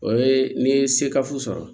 O ye n'i ye sekafu sɔrɔ